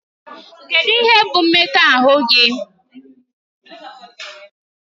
Kedu ihe bụ mmekọahụ gị?